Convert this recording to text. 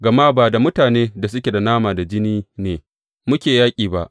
Gama ba da mutane da suke nama da jini ne muke yaƙi ba.